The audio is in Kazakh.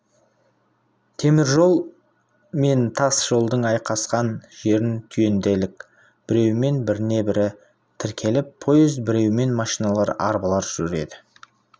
темір жол мен тас жолдың айқасқан жерін түйінделік біреуімен біріне-бірі тіркеліп поезд біреуімен машиналар арбалар жүреді